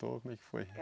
Como é que foi?